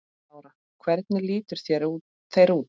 Lára: Hvernig litu þeir út?